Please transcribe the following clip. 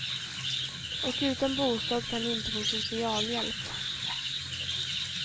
Och utan bostad kan de inte få socialhjälp.